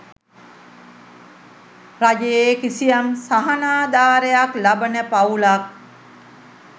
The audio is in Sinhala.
රජයේ කිසියම් සහනාධාරයක් ලබන පවුලක්